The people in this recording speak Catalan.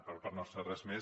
per part nostra res més